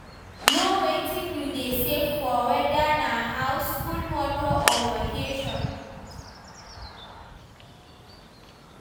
Know wetin you dey save for, weda na house, school motor or vacation